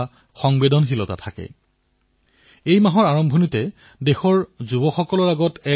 ভাৰতৰ কিছুমান স্থান পুতলা ক্লাষ্টাৰ অৰ্থাৎ খেলাসামগ্ৰী কেন্দ্ৰৰ ৰূপত বিকশিত হবলৈ ধৰিছে